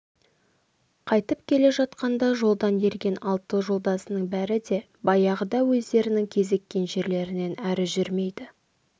қайтып келе жатқанда жолдан ерген алты жолдасының бәрі де баяғыда өздерінің кезіккен жерлерінен әрі жүрмейді